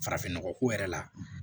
Farafinnɔgɔ ko yɛrɛ la